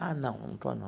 Ah, não, não estou, não.